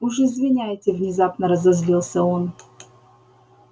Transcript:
уж извиняйте внезапно разозлился он